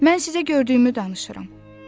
Mən sizə gördüyümü danışıram.